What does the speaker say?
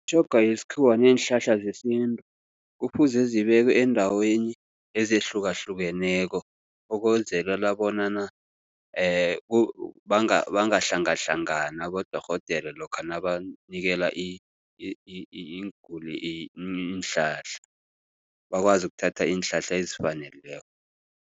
Imitjhoga yesikhuwa neenhlahla zesintu kufuze zibekwe eendaweni ezehlukehlukeneko ukwenzelela bonyana bangahlangahlangani abodorhodere lokha nabanikela iinguli iinhlahla. Bakwazi ukuthatha iinhlahla ezifaneleko.